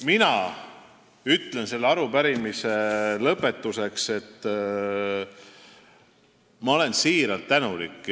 Mina ütlen selle arupärimise lõpetuseks, et ma olen siiralt tänulik.